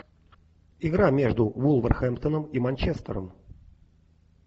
игра между вулверхэмптоном и манчестером